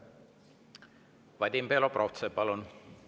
Vadim Belobrovtsev, palun!